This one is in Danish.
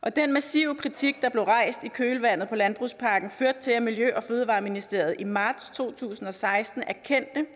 og den massive kritik der blev rejst i kølvandet på landbrugspakken førte til at miljø og fødevareministeriet i marts to tusind og seksten erkendte